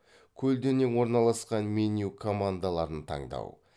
көлденең орналасқан меню командаларын таңдау